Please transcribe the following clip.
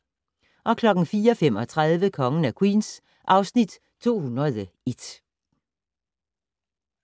04:35: Kongen af Queens (Afs. 201)